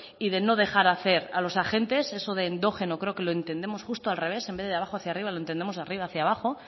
y de no dejar hacer a los agentes eso de endógeno creo lo entendemos justo al revés en vez de abajo hacia arriba lo entendemos de arriba hacia abajo